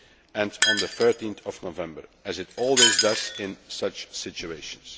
and on 13 November, as it always does in such situations.